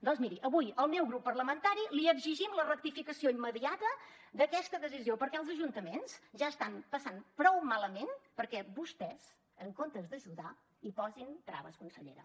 doncs miri avui el meu grup parlamentari li exigim la rectificació immediata d’aquesta decisió perquè els ajuntaments ja ho estan passant prou malament perquè vostès en comptes d’ajudar hi posin traves consellera